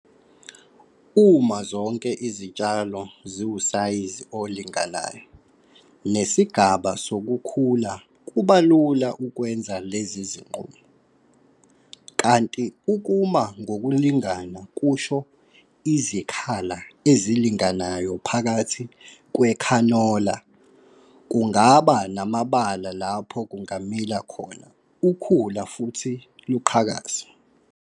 Uma zonke izitshalo ziwusayizi olinganayo nesigaba sokukhula kuba lula ukwenza lezi zinqumo. Kanti ukuma ngokulingana kusho izikhala ezilinganayo phakathi kwekhanola kungaba namabala lapho kungamila khona ukhula futhi luqhakaze.